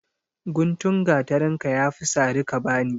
Gutun gatarinka ya fi sari ka ba ni.